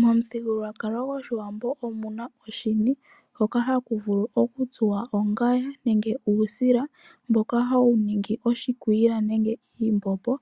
Momudhingoloko goshiwambo omuna oshini hoka haku vulu okutsuwa ongaya nenge uusila mboka hawu ningi oshikwiila nenge iimbombo.